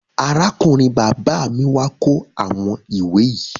Arákùnrin bàbá mi wà kó àwọn ìwé yìí.